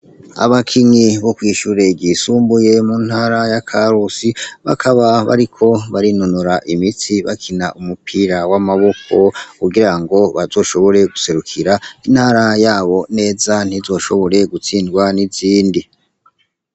Abakinyi bo kwishure ryisumbuye mu ntara ya Karusi, bakaba bariko barinonora imitsi bakina umupira w'amaboko, kugira ngo bazoshobore guserukira intara yabo neza ntizoshobore gutsindwa n'izindi.